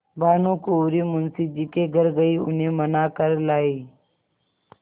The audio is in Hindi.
भानुकुँवरि मुंशी जी के घर गयी उन्हें मना कर लायीं